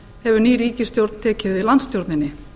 hefur ný ríkisstjórn tekið við landsstjórninni